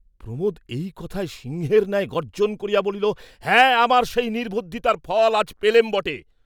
প্রমোদ এই কথায় সিংহের ন্যায় গর্জ্জন করিয়া বলিলেন, হাঁ আমার সেই নির্বুদ্ধিতার ফল আজ পেলেম বটে।